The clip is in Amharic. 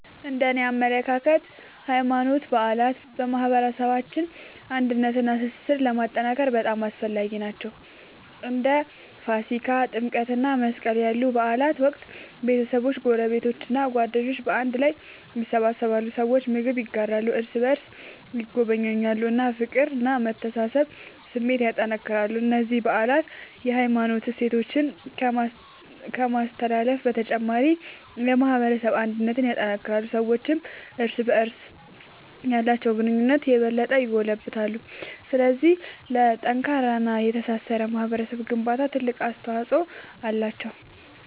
እነደኔ አመለካከት ሃይማኖታዊ በዓላት በማህበረሰባችን አንድነትንና ትስስርን ለማጠናከር በጣም አስፈላጊ ናቸው። በእንደ ገና፣ ፋሲካ፣ ጥምቀት እና መስቀል ያሉ በዓላት ወቅት ቤተሰቦች፣ ጎረቤቶች እና ጓደኞች በአንድ ላይ ይሰበሰባሉ። ሰዎች ምግብ ይጋራሉ፣ እርስ በርስ ይጎበኛሉ እና የፍቅርና የመተሳሰብ ስሜትን ያጠናክራሉ። እነዚህ በዓላት የሃይማኖት እሴቶችን ከማስተላለፍ በተጨማሪ የማህበረሰብ አንድነትን ያጠናክራሉ። ሰዎችም እርስ በርስ ያላቸውን ግንኙነት የበለጠ ያጎለብታሉ። ስለዚህ ለጠንካራና ለተሳሰረ ማህበረሰብ ግንባታ ትልቅ አስተዋጽኦ አላቸው።